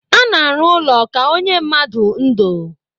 A na-arụ ụlọ ka onye mmadụ ńdò.